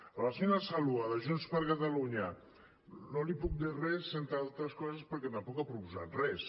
a la senyora saloua de junts per catalunya no li puc dir res entre altres coses perquè tampoc ha proposat res